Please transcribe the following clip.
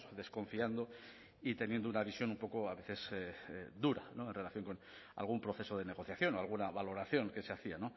desconfiando y teniendo una visión un poco a veces dura en relación con algún proceso de negociación o alguna valoración que se hacía